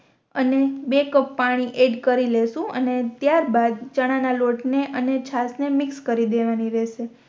અને બે કપ પાણી એડ કરી લેશું અને ત્યાર બાદ ચણા ના લોટ ને અને છાસ ને મિક્સ કરી રેવાની રેહશે